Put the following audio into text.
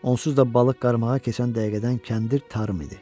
Onsuz da balıq qarmağa keçən dəqiqədən kəndir tarım idi.